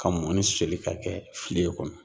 Ka mɔni soli ka kɛ fiken kɔnɔ.